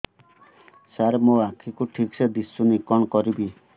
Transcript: ସାର ମୋର ଆଖି କୁ ଠିକସେ ଦିଶୁନି କଣ କରିବି